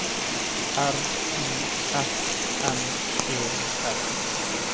R I S N E S